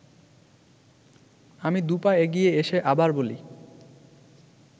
আমি দু’পা এগিয়ে এসে আবার বলি